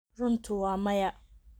runtu waa maya.